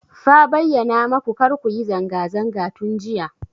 Fa bayyana maku kar ku yi zanga zanga tun jiya.